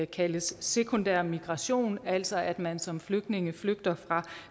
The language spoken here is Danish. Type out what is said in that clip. kaldes sekundær migrationen altså at man som flygtning flygter fra